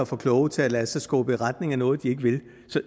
for kloge til at lade sig skubbe i retning af noget de ikke vil